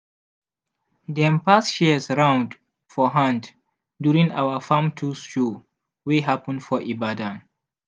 dem pass shears round for hand during our farm tools show wey happen for ibadan.